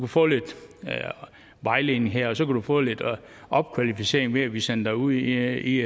få lidt vejledning her og så kan du få lidt opkvalificering ved at vi sender dig ud i